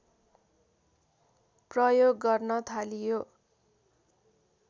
प्रयोग गर्न थालियो